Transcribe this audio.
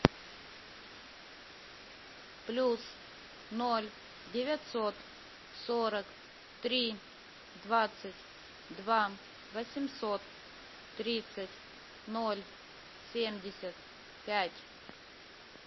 плюс ноль девятьсот сорок три двадцать два восемьсот тридцать ноль семьдесят пять